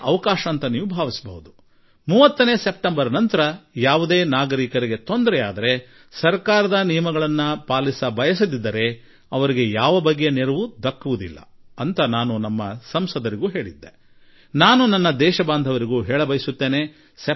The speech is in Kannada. ಈ ನಡುವೆ ಸರ್ಕಾರದ ನಿಯಮಗಳನ್ನು ಪಾಲಿಸದೇ ಇರುವ ನಾಗರಿಕನಿಗೆ ಸೆಪ್ಟೆಂಬರ್ 30ರ ನಂತರ ಒಂದು ವೇಳೆ ತೊಂದರೆಯಾದರೆ ಅಂತಹವರಿಗೆ ಯಾವುದೇ ಸಹಾಯ ದೊರಕುವುದಿಲ್ಲ ಎಂದು ನಮ್ಮ ಸಂಸತ್ ಸದಸ್ಯರಿಗೂ ಹೇಳಿಬಿಟ್ಟಿರುವೆ